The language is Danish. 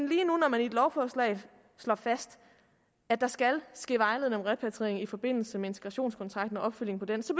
lige nu når man i et lovforslag slår fast at der skal ske vejledning om repatriering i forbindelse med integrationskontrakten og opfølgning på den så